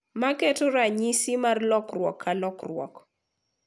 Maketo ranyisi mar lokruok ka lokruok.